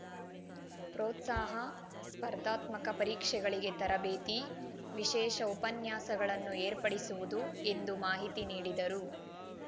ಪ್ರೋತ್ಸಾಹ ಸ್ಪರ್ಧಾತ್ಮಕ ಪರೀಕ್ಷೆಗಳಿಗೆ ತರಬೇತಿ ವಿಶೇಷ ಉಪನ್ಯಾಸಗಳನ್ನು ಏರ್ಪಡಿಸುವುದು ಎಂದು ಮಾಹಿತಿ ನೀಡಿದರು